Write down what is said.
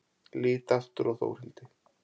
Lít aftur á Þórhildi.